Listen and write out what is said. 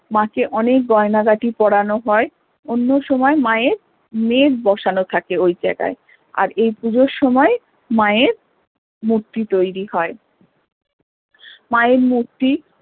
মা কে অনেক গয়নাগাটি পড়ানো হয় অন্য সময়ে মা এর মেঘ বসানো থাকে ওই জায়গায় আর এই পুজোর সময়ে মা এর মূর্তি তৈরী হয় মা এর মূর্তি